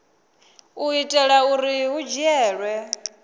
u itela uri hu dzhielwe